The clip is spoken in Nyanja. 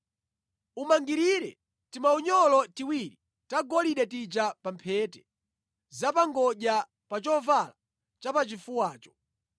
Umangirire timaunyolo tiwiri tagolide tija pa mphete za pa ngodya pa chovala chapachifuwacho.